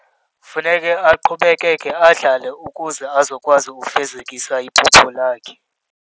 Funeke aqhubekeke adlale ukuze azokwazi ukufezekisa iphupho lakhe.